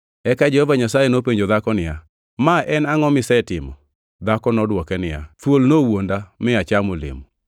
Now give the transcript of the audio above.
Eka Jehova Nyasaye nopenjo dhako niya, “Ma en angʼo ma isetimo?” Dhako nodwoke niya, “Thuol nowuonda, mi achamo olemo.”